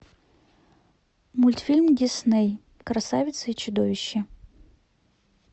мультфильм дисней красавица и чудовище